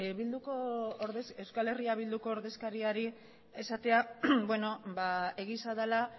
euskal herria bilduko ordezkariari esatea beno egia dela